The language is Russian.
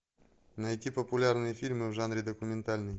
найти популярные фильмы в жанре документальный